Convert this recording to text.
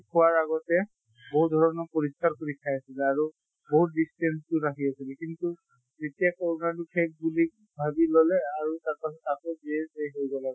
খোৱাৰ আগতে বহুত ধৰণৰ পৰিস্কাৰ কৰি খাই আছিলে আৰু বহুত distance তো ৰাখি আছিলে। কিন্তু এতিয়া কৰʼণাতো শেষ বুলি ভাবি ললে আৰু তাৰ পাছত আকৌ হৈ গʼ আৰু।